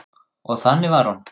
Og þannig var hún.